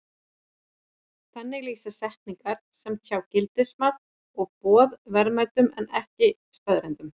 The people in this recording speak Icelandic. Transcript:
Þannig lýsa setningar sem tjá gildismat og boð verðmætum en ekki staðreyndum.